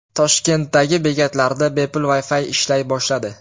Toshkentdagi bekatlarda bepul Wi-Fi ishlay boshladi.